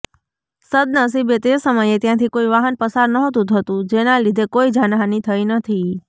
સદનસીબે તે સમયે ત્યાંથી કોઈ વાહન પસાર નહોતું થતું જેના લીધે કોઈ જાનહાની થઇ નથી